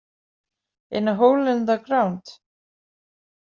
In a hole in the ground.